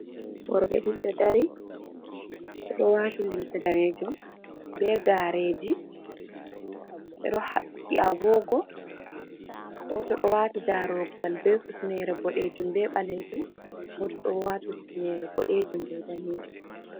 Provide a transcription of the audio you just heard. Worɓe ɗiɗi ɗo dari ɓeɗo wati limse danejum be gareji, ɓeɗo haɓɓi agogo, goto ɗo wati darogal be hufnere boɗejum be ɓalejum, goto ɗo wati hufnere boɗejum be danejum.